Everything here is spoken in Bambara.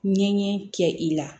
Ɲɛɲɛ kɛ i la